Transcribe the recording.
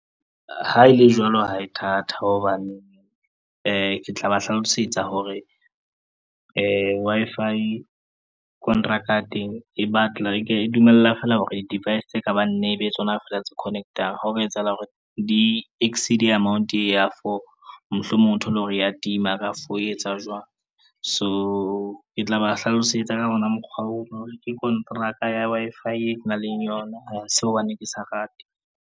Ha e le jwalo ha e thata hobane ke tla ba hlalosetsa hore Wi-Fi kontraka ya teng e dumella feela hore device tse ka bang nne tsona fela tse connect-ang ene ha ho ka etsahala hore di-exceed-e amount e ya four mohlomong o thole hore ya tima ka for ho etsa jwang. So ke tla ba hlalosetsa ka ona mokgwa oo, ke konteraka ya Wi-Fi e kenang le yona ha se hobaneng ke sa rate.